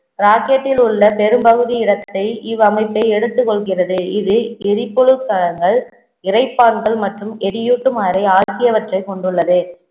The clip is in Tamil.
rocket டில் உள்ள பெரும்பகுதி இடத்தை இவ்வமைப்பே எடுத்துக் கொள்கிறது இது இரைப்பான்கள் மற்றும் எரியூட்டும் அறை ஆகியவற்றைக் கொண்டுள்ளது